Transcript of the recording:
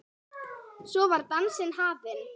Svo var dansinn hafinn.